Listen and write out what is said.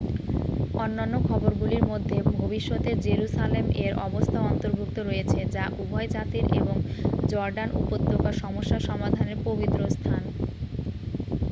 অন্যান্য খবরগুলির মধ্যে ভবিষ্যতের জেরুসালেম এর অবস্থা অন্তর্ভুক্ত রয়েছে যা উভয় জাতির এবং জর্ডান উপত্যকার সমস্যা সমাধানের পবিত্রস্থান